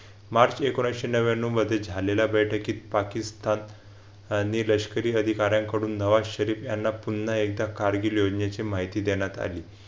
मार्च एकोणविशे नव्व्यान्नव मध्ये झालेल्या बैठकीत पाकिस्तान आणि लष्करी अधिकाऱ्यांकडून नवा शरीफ यांना पुन्हा एकदा कारगिल योजनेची माहिती देण्यात आली.